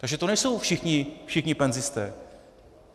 Takže to nejsou všichni penzisté.